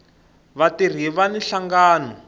vatirhi vani nhlangano